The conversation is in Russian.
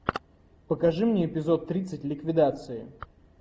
покажи мне эпизод тридцать ликвидация